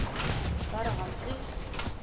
o ka re ga se